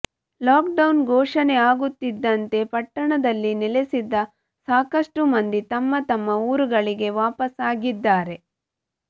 lock down ಘೋಷಣೆ ಆಗುತ್ತಿದ್ದಂತೆ ಪಟ್ಟಣದಲ್ಲಿ ನೆಲೆಸಿದ್ದ ಸಾಕಷ್ಟು ಮಂದಿ ತಮ್ಮ ತಮ್ಮ ಊರುಗಳಿಗೆ ವಾಪಸ್ ಆಗಿದ್ದಾರೆ